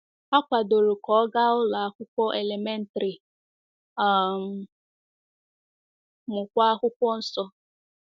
Ha kwadoro ka ọ gaa ụlọ akwụkwọ elementrị um, mụkwa Akwụkwọ Nsọ.